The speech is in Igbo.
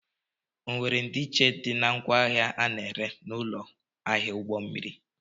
ọ were ndiiche dị na ngwaahịa a na-ere n'ụlọ ahịa ụgbọ mmiri?